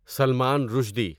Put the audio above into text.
Salman Rushdie